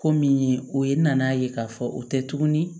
Ko min ye o ye nan'a ye k'a fɔ o tɛ tuguni